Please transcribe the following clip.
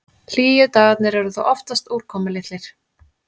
Hlýju dagarnir eru þó oftast úrkomulitlir.